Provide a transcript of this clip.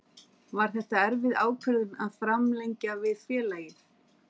Var þetta erfið ákvörðun að framlengja við félagið?